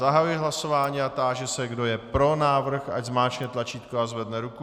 Zahajuji hlasování a táži se, kdo je pro návrh, ať zmáčkne tlačítko a zvedne ruku.